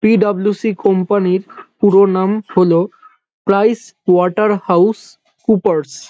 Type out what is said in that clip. PWC company -র পুরো নাম হলো প্রাইস ওয়াটার হাউস কুপার্স ।